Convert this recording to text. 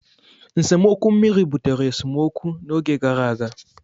nsemokwu mmiri butere esemokwu n'oge gara aga.